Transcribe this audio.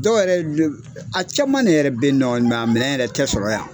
Dɔw yɛrɛ le a caman de yɛrɛ be ye nɔ a minɛn yɛrɛ tɛ sɔrɔ yan.